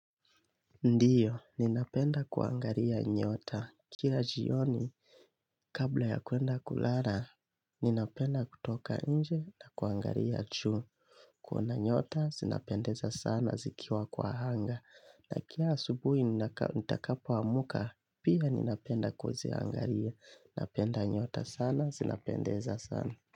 Ndiyo, ninapenda kuangalia nyota. Kila jioni, kabla ya kuenda kulala, ninapenda kutoka inje na kuangaia juu. Kuna nyota, sinapendeza sana zikiwa kwa hanga. Na kila asubuhi nitakapo amka, pia ninapenda kuweziangalia. Napenda nyota sana, sinapendeza sana.